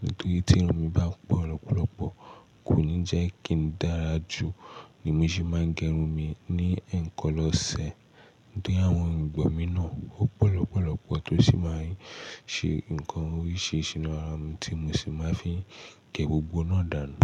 Nítorí tí irun mi bá pọ̀ lọ́pọ̀lọpọ̀ kò ní jẹ́ kí n dára jù, ni mo ṣe máa ń gẹrun mi ní ẹ̀ẹ̀kan lọ́sẹ̀. Nítorí àwọn irùngbọ̀n mi náà ọ́ pọ̀ lọ́pọ̀lọpọ̀ tó sì máa ń ṣe nǹkan oríṣìíríṣìí nínú ara tí mo sì máa fi gẹ gbogbo náà dànù.